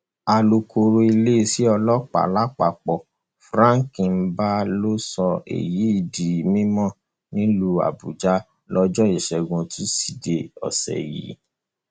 alūkkóró iléeṣẹ ọlọpàá lápapọ frank mba ló sọ èyí di mímọ nílùú àbújá lọjọ ìṣẹgun túṣídéé ọsẹ yìí